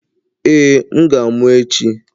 Ee, m ga-amụ echi.